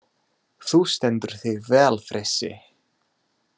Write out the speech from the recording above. Þú stendur þig vel, Frissi!